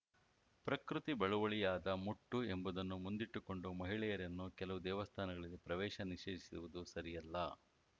ಪ್ರಕೃತಿ ಬಳುವಳಿಯಾದ ಮುಟ್ಟು ಎಂಬುದನ್ನು ಮುಂದಿಟ್ಟುಕೊಂಡು ಮಹಿಳೆಯರನ್ನು ಕೆಲವು ದೇವಸ್ಥಾನಗಳಲ್ಲಿ ಪ್ರವೇಶ ನಿಷೇಧಿಸುವುದು ಸರಿಯಲ್ಲ